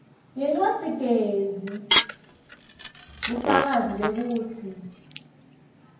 ngencwadzigezi bufakazi bekutsi